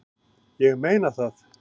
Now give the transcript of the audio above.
Ég meina það!